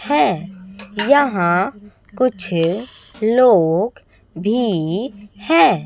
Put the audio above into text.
हैं यहाँ कुछ लोग भी हैं।